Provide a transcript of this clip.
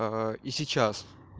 и сейчас